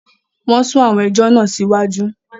Wọn sún àwọn ẹjọ́ náà sí iwájú